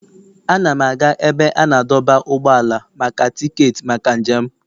Ana m aga ebe a na-adọba ụgbọala maka tiketi maka njem m.